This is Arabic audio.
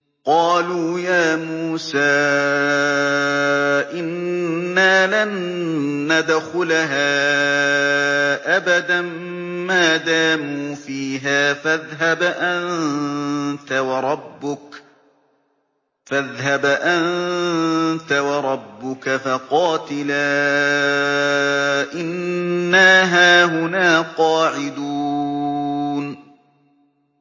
قَالُوا يَا مُوسَىٰ إِنَّا لَن نَّدْخُلَهَا أَبَدًا مَّا دَامُوا فِيهَا ۖ فَاذْهَبْ أَنتَ وَرَبُّكَ فَقَاتِلَا إِنَّا هَاهُنَا قَاعِدُونَ